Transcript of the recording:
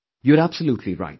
You are absolutely right